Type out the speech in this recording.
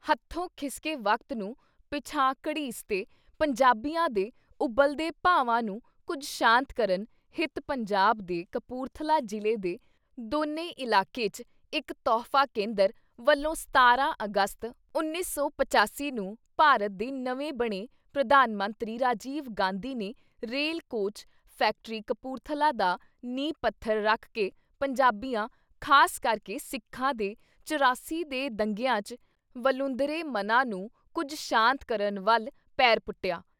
ਹਥੋਂ ਖਿਸਕੇ ਵਕਤ ਨੂੰ ਪਿਛਾਂਹ ਘੜੀਸ ਤੇ ਪੰਜਾਬੀਆਂ ਦੇ ਉਬਲਦੇ ਭਾਵਾਂ ਨੂੰ ਕੁਝ ਸ਼ਾਂਤ ਕਰਨ ਹਿਤ ਪੰਜਾਬ ਦੇ ਕਪੂਰਥਲਾ ਜਿਲ੍ਹੇ ਦੇ ਦੋਨੇ ਇਲਾਕੇ 'ਚ ਇੱਕ ਤੌਹਫ਼ਾ ਕੇਂਦਰ ਵਲੋਂ 17 ਅਗਸਤ 1985 ਨੂੰ ਭਾਰਤ ਦੇ ਨਵੇਂ ਬਣੇ ਪ੍ਰਧਾਨ ਮੰਤਰੀ ਰਾਜੀਵ ਗਾਂਧੀ ਨੇ ਰੇਲ ਕੋਚ ਫੈਕਟਰੀ ਕਪੂਰਥਲਾ ਦਾ ਨੀਂਹ ਪੱਥਰ ਰੱਖ ਕੇ ਪੰਜਾਬੀਆਂ ਖਾਸ ਕਰਕੇ ਸਿੱਖਾਂ ਦੇ ਚੁਰਾਸੀ ਦੇ ਦੰਗਿਆਂ 'ਚ ਵਲੂੰਧਰੇ ਮਨਾਂ ਨੂੰ ਕੁਝ ਸ਼ਾਂਤ ਕਰਨ ਵੱਲ ਪੈਰ ਪੁੱਟਿਆ।